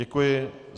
Děkuji.